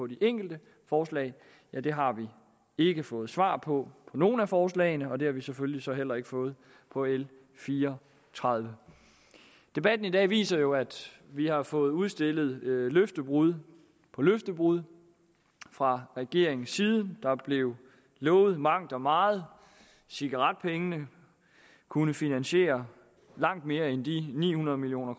de enkelte forslag ja det har vi ikke fået svar på for nogen af forslagene og det har vi selvfølgelig så heller ikke fået på l fire og tredive debatten i dag viser jo at vi har fået udstillet løftebrud på løftebrud fra regeringens side der blev lovet mangt og meget cigaretpengene kunne finansiere langt mere end de ni hundrede million